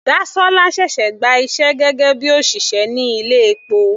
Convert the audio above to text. Dasola ṣẹ̀ṣẹ̀ gba iṣẹ́ gẹ́gẹ́ bíi òṣìṣẹ́ ní ilé epo.